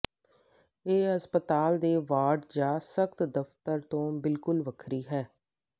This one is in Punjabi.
ਇਹ ਹਸਪਤਾਲ ਦੇ ਵਾਰਡ ਜਾਂ ਸਖਤ ਦਫ਼ਤਰ ਤੋਂ ਬਿਲਕੁਲ ਵੱਖਰੀ ਹੈ